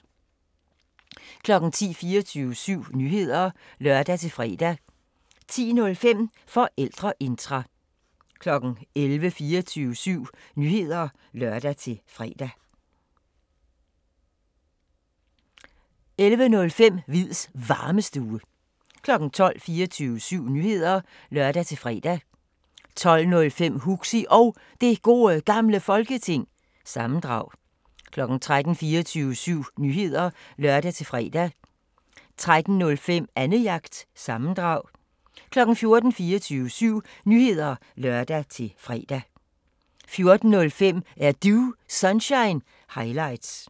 10:00: 24syv Nyheder (lør-fre) 10:05: Forældreintra 11:00: 24syv Nyheder (lør-fre) 11:05: Hviids Varmestue 12:00: 24syv Nyheder (lør-fre) 12:05: Huxi Og Det Gode Gamle Folketing- sammendrag 13:00: 24syv Nyheder (lør-fre) 13:05: Annejagt – sammendrag 14:00: 24syv Nyheder (lør-fre) 14:05: Er Du Sunshine – highlights